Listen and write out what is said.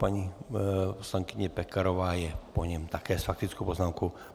Paní poslankyně Pekarová je po něm také s faktickou poznámkou.